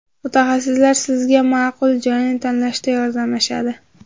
Mutaxassislar sizga ma’qul joyni tanlashda yordamlashadi.